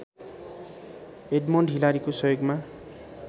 Edmund हिलारीको सहयोगमा